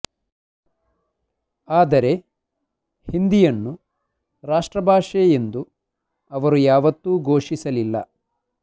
ಆದರೆ ಹಿಂದಿಯನ್ನು ರಾಷ್ಟ್ರ ಭಾಷೆ ಎಂದು ಅವರು ಯಾವತ್ತೂ ಘೋಷಿಸಲಿಲ್ಲ